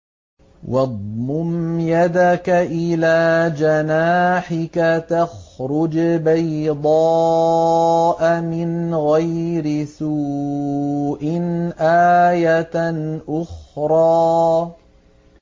وَاضْمُمْ يَدَكَ إِلَىٰ جَنَاحِكَ تَخْرُجْ بَيْضَاءَ مِنْ غَيْرِ سُوءٍ آيَةً أُخْرَىٰ